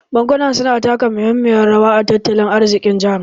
Bankuna su na taka muhimmiyan rawa a tattalin arzikin jaha